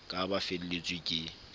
ka ha ba felletswe ke